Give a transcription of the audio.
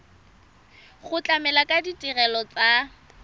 go tlamela ka ditirelo tsa